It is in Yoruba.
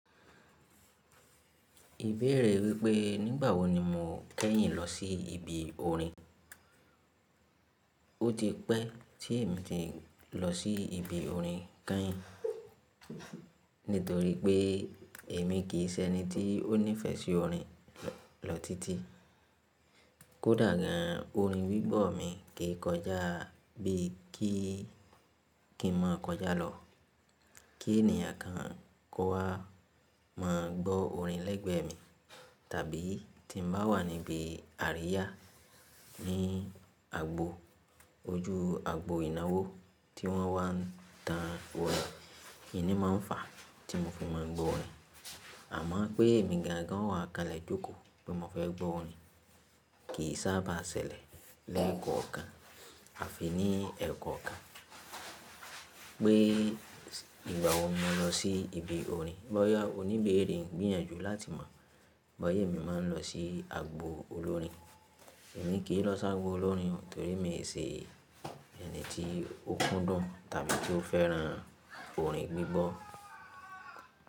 Ìbéèrè wípé nígbà wo ni mo kẹ́yìn lọ sí ibi orin? Ó ti pẹ́ tí èmi ti lọ sí ibi orin kán, nítorí pé èmi kì í ṣe ẹni tí ó nífẹ̀ẹ́ sí orin lọ títí. Kódà gan, orin gbígbọ́ mi kì í kọjá bí i kí n máa kọjá lọ kí ènìyàn kan kó wá máa gbọ́ orin lẹ́gbẹ́ mi. Tàbí tí mo bá wà níbi àríyá ní agbo ojú agbo ìnáwó tí wọ́n wá ń ta wọ́n, ìní máa ń fà á tí mo fi máa gbọ́ orin. Àmọ́ pé èmi ga gan wà kalẹ̀ jókòó bí mo fẹ́ gbọ́ orin kì í sábà ṣẹlẹ̀ lẹ́ẹ̀kan ọ̀kan àfi ní ẹẹ́kán ọ̀kan. Pé nígbà wo mo lọ sí ibi orin. Bọ́yá oníbéèrè ń gbìyànjú láti mọ̀ bóyá èmi máa ń lọ sí agbo olórin. Èmi kì í lọ sí agbo olórin torí mi ò ṣe ẹni tí ó kúndùn tàbí tí ó fẹ́ran orin gbígbọ́.